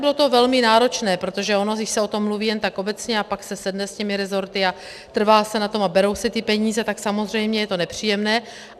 Bylo to velmi náročné, protože ono když se o tom mluví jen tak obecně a pak se sedne s těmi resorty a trvá se na tom a berou se ty peníze, tak samozřejmě je to nepříjemné.